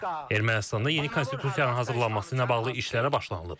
Ermənistanda yeni konstitusiyanın hazırlanması ilə bağlı işlərə başlanılıb.